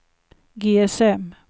GSM